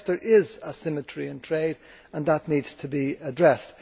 Yes, there is asymmetry in trade and that needs to be addressed.